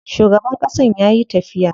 Shugaban ƙasan yayi tafiya.